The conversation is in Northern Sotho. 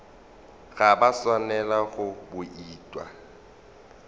ga ba swanela go bouta